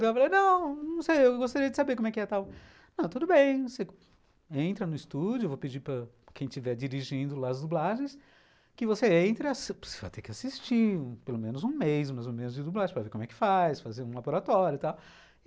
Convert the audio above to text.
Eu falei, não, não sei, eu gostaria de saber como é que é tal. Ah, tudo bem, você entra no estúdio, eu vou pedir para quem estiver dirigindo lá as dublagens, que você entre, você vai ter que assistir pelo menos um mês, mais ou menos, de dublagem, para ver como é que faz, fazer um laboratório e tal.